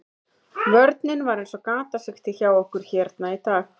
Vörnin var eins og gatasigti hjá okkur hérna í dag.